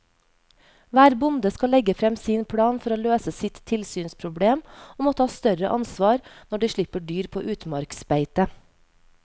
Hver bonde skal legge frem sin plan for å løse sitt tilsynsproblem og må ta større ansvar når de slipper dyr på utmarksbeite.